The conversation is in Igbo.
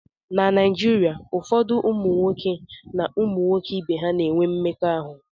na Naijiria, ụfọdụ ụmụ nwoke na ụmụ nwoke ibe ha na-enwe mmekọahụ